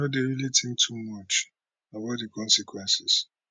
no dey really think too much about di consequences